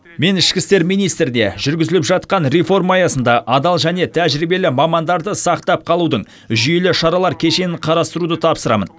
мен ішкі істер министріне жүргізіліп жатқан реформа аясында адал және тәжірибелі мамандарды сақтап қалудың жүйелі шаралар кешенін қарастыруды тапсырамын